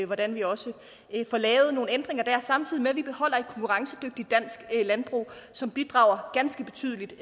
hvordan vi også får lavet nogle ændringer der samtidig med at vi beholder et konkurrencedygtigt dansk landbrug som bidrager ganske betydeligt